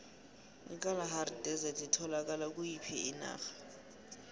ikalahari desert itholakala kuyiphi inarha